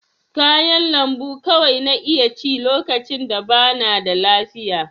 Kayan lambu kawai na iya ci lokacin da bana da lafiya.